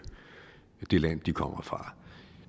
det land de kommer fra